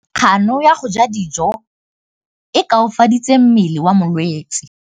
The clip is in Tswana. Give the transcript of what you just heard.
Kganô ya go ja dijo e koafaditse mmele wa molwetse.